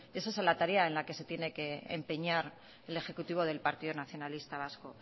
es esa la tarea en la que se tiene que empeñar el ejecutivo del partido nacionalista vasco